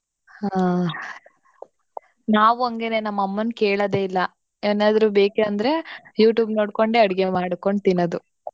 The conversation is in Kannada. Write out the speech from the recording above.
ಹಾ . ನಾವು ಅಂಗೇನೇ ನಮ್ಮಮನ್ ಕೇಳಾದೇ ಇಲ್ಲಾ. ಏನಾದ್ರೂ ಬೇಕೆ ಅಂದ್ರೆ youtube ನೋಡ್ಕೊಂಡೇ ಅಡ್ಗೆ ಮಾಡ್ಕೊಂಡ್ ತಿನ್ನೋದು .